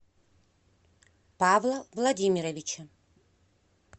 павла владимировича